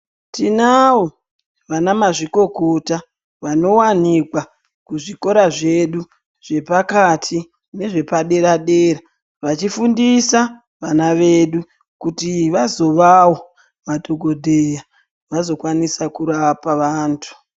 Tinawo vanamazvikokota vanowanikwa kuzvikora zvedu zvepakati nezvepadera dera vachifundisa vana vedu kuti vazovawo madhokodheya vazokwanisa kurapa vantu.